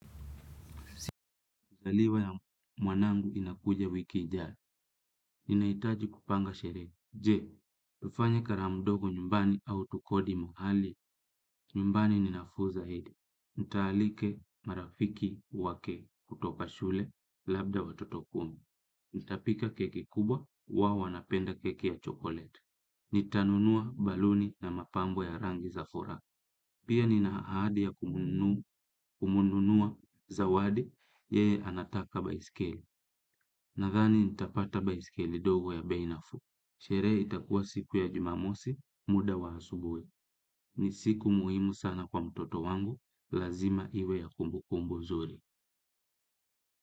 Zaliwa ya mwanangu inakuja wiki ijayo. Ninahitaji kupanga sherehe. Je tufanye karamu ndogo nyumbani au tukodi mahali. Nyumbani ninafuu zaidi. Nitaalika marafiki wake kutoka shule labda watoto kumi. Nitapika keki kubwa huwa wanapenda keki ya chokoleti. Nitanunua baluni na mapambo ya rangi za furaha. Pia nina ahadi ya kumnunua zawadi yeye anataka baiskeli nadhani nitapata baiskeli ndogo ya bei nafuu. Sherehe itakuwa siku ya jumamosi, muda wa asubuhi. Ni siku muhimu sana kwa mtoto wangu, lazima iwe ya kumbukumbu zuri.